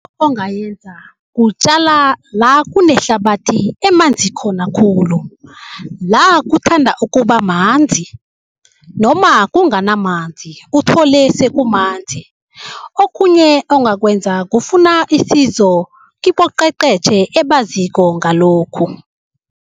Ongayenza kutjala la kunehlabathi emanzi khona khulu, la kuthanda ukubamanzi noma kunganamanzi uthole sekumanzi. Okhunye ongakwenza kufuna isizo kiboqheqhetjhe ebaziko ngalokhu.